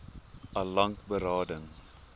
al lank berading